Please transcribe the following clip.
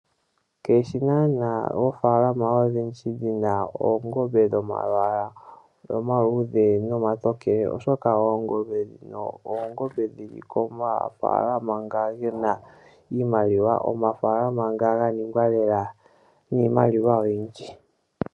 Keishi naanaa oofaalama odhindji dhina oongombe dhomalwalwa omaluudhe nomatokele, oshoka oongombe dhino odhili komafaalama nga gena iimaliwa noga ningwa lela niimaliwa oyindji.